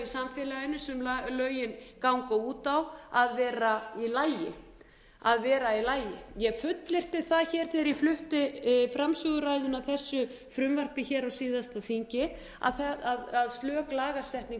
í samfélaginu sem lögin ganga út á að vera í lagi að vera í lagi ég fullyrti það hér þegar ég flutti framsöguræðuna að þessu frumvarpi hér á síðasta þingi að slök lagasetning